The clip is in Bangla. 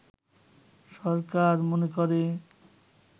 সরকার মনে করে